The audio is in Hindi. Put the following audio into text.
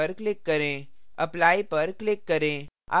apply पर click करें